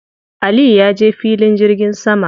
Aliyu ya je filin jirgin sama.